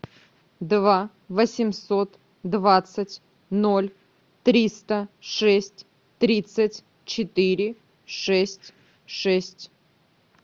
два восемьсот двадцать ноль триста шесть тридцать четыре шесть шесть